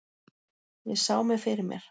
Ég sá mig fyrir mér.